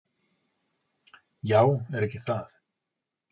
"""Já, er ekki það?"""